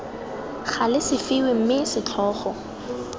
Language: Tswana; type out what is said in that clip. gale se fiwe mme setlhogo